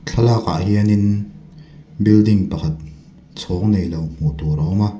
thlalak ah hianin building pakhat chhawng neilo hmuh tur a awma.